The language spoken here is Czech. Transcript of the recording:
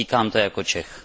Říkám to jako Čech.